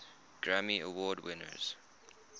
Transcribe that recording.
grammy award winners